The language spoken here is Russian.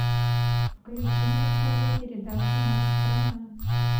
включи на тв передачу матч страна